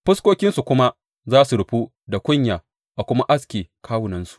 Fuskokinsu kuma za su rufu da kunya a kuma aske kawunansu.